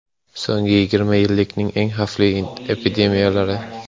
So‘nggi yigirma yillikning eng xavfli epidemiyalari.